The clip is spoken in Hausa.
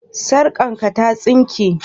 Sarkarka ta sinke?